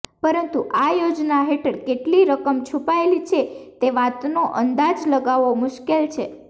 પરંતુ આ યોજના હેઠળ કેટલી રકમ છુપાયેલી છે તે વાતનો અંદાજ લગાવવો મુશ્કેલ છે